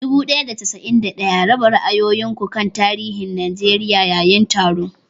Dubu ɗaya da casa'in ɗaya, raba ra'ayoyin ku kan tarihin Najeriya yayin taron.